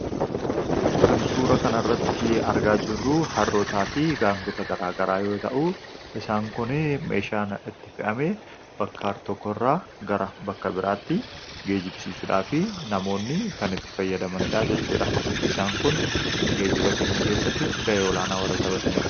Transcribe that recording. Kan suura kana irratti argaa jirru harrootaa fi gaangota garaa garaa yoo ta'u isaan kun meeshaan itti fe'amee bakka tokko irraa gara bakka biraatti geejjibsiisuudhaa fi namoonni kan itti fayyadamaniidha jechuudha. Isaan kun geejjiba kennu keessatti ga'ee olaanaa warra taphatanidha.